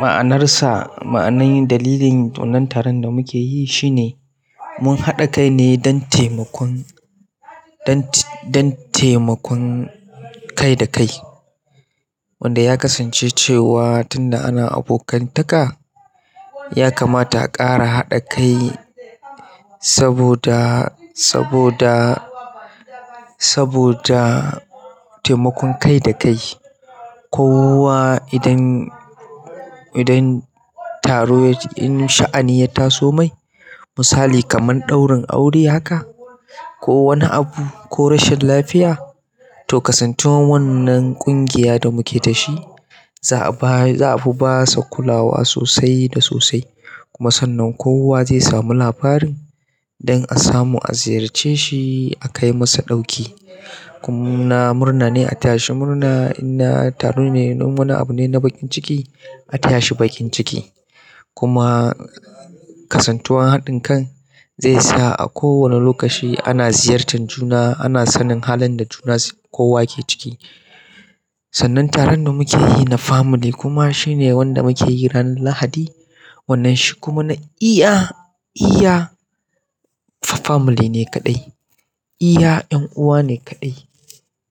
ma'anarsa, ma'anan dalilin wannan taron da muke yi shine mun haɗa kai ne don taimakon, dant dan taimakon kai da kai wanda ya kasance cewa tun da ana abokantaka ya kamata a ƙara haɗa kai saboda, saboda, saboda taimakon kai da kai. Kowa idan, idan taro ya in sha'ani ya taso mai, misali kaman ɗaurin aure haka ko wani abu ko rashin lafiya to kasantuwan wannan ƙungiya da muke dashi za a ba, za a fi ba sa kulawa sosai da sosai. Kuma sannan kowa zai sami labarin don a samu a ziyarce shi, a kai masa ɗauki. Kum na murna ne a taya shi murna in na taro ne in wani abu ne na bakin ciki a taya shi bakin ciki. Kuma kasantuwan haɗin kan zai sa a kowane lokaci ana ziyartar juna, ana sanin halin da juna kowa ke ciki. Sannan taron da muke yi na family kuma shine wanda muke yi ran Lahadi. Wannan shi kuma na iya, iya family ne kaɗai. Iya ƴan uwa ne kaɗai